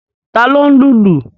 Ta ló ń lùlù?